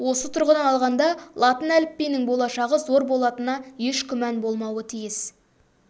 осы тұрғыдан алғанда латын әліпбиінің болашағы зор болатынына еш күмән болмауы тиіс